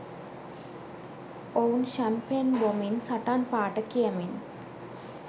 ඔවුන් ෂැම්පෙන් බොමින් සටන් පාඨ කියමින්